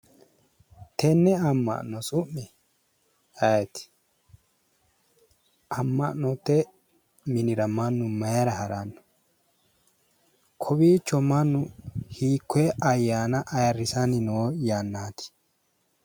Tenne amma'no su'mi ayeeti? Amma'note minira mannu mayira haranno kowiicho mannu hiikkoye ayyaana ayirrisanni noo yannati?